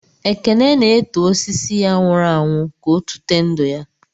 Ekene na-eto osisi ya nwụrụ anwụ, ka ọ tụte ndụ ya.